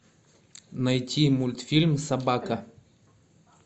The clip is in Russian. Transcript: найти мультфильм собака